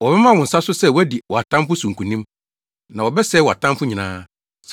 Wɔbɛma wo nsa so sɛ woadi wʼatamfo so nkonim, na wɔbɛsɛe wʼatamfo nyinaa.